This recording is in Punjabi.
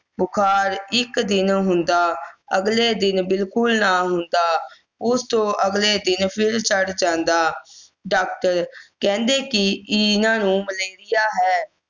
ਬੁਖਾਰ ਇੱਕ ਦਿਨ ਹੁੰਦਾ ਅਗਲੇ ਦਿਨ ਬਿਲਕੁਲ ਨਾ ਹੁੰਦਾ ਉਸ ਤੋਂ ਅਗਲੇ ਦਿਨ ਫਿਰ ਚੜ ਜਾਂਦਾ doctor ਕਹਿੰਦੇ ਕਿ ਨਹੀਂ ਇਹਨਾਂ ਨੂੰ malaria ਹੈ